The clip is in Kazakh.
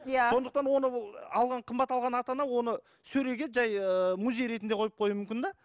иә сондықтан оны ол алған қымбат алған ата ана оны сөреге жай ыыы музей ретінде қойып қоюы мүмкін де